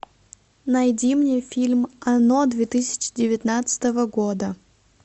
найди мне фильм оно две тысячи девятнадцатого года